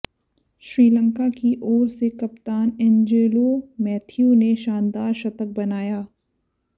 श्रीलंका की ओर से कप्तान एंजेलो मैथ्यूज ने शानदार शतक बनाया